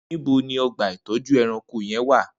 Nibọ ni ọgba itọjú ẹ̀rãnkó yèn wà?